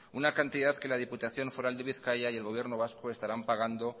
una cantidad que la diputación foral de bizkaia y el gobierno vasco estarán pagando